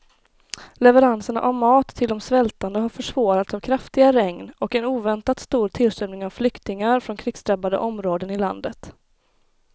Leveranserna av mat till de svältande har försvårats av kraftiga regn och en oväntat stor tillströmning av flyktingar från krigsdrabbade områden i landet.